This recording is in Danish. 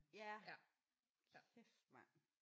Ja kæft mand